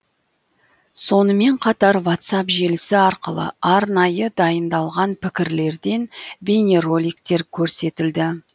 сонымен қатар ватсап желісі арқылы арнайы дайындалған пікірлерден бейнероликтер көрсетілді